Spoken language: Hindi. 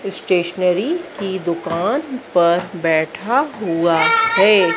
स्टेशनरी की दुकान पर बैठा हुआ है।